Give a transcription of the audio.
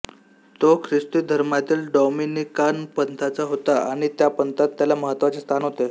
तो ख्रिस्ती धर्मातील डॉमिनिकन पंथाचा होता आणि त्या पंथात त्याला महत्त्वाचे स्थान होते